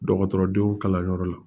Dɔgɔtɔrɔdenw kalanyɔrɔ la